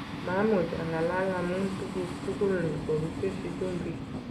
Mamach ang'alal amum tukuk tugul kokiketesyi chumbik".